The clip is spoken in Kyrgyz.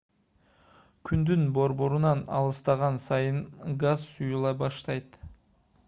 күндүн борборунан алыстаган сайын газ суюла баштайт